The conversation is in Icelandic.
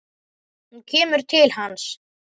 Hún kemur til hans.